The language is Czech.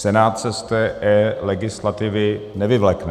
Senát se z té eLegislativy nevyvlékne.